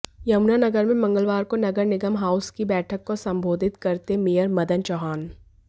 यमुनानगर में मंगलवार को नगर निगम हाउस की बैठक को संबोधित करते मेयर मदन चौहान